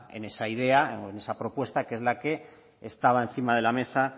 en esa idea o en esa propuesta que es la que estaba encima de la mesa